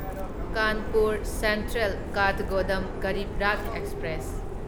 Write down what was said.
Kanpur central Kathgodam Garib Rath express